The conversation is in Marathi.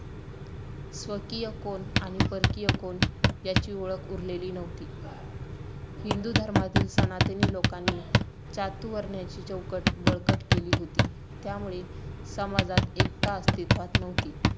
स्वकीय कोण आणि परकीय कोण याची ओळख उरलेली नव्हती. हिंदू धर्मातील सनातनी लोकांनी चातुर्वर्ण्याची चौकट बळकट केली होती. त्यामुळे समाजात एकता अस्तित्वात नव्हती.